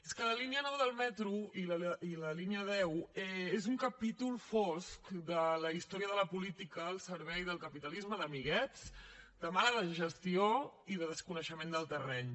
és que la línia nou del metro i la línia deu són un capítol fosc de la història de la política al servei del capitalisme d’amiguets de mala gestió i de desconeixement del terreny